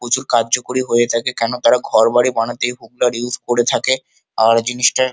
প্রচুর কার্যকরী হয়ে থাকে কোনো তারা ঘরবাড়ি বানাতে হোগলা ইইউজ করে থাকে আর জিনিসটা--